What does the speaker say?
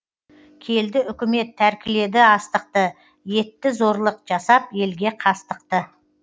келді үкімет тәркіледі астықты етті зорлық жасап елге қастықты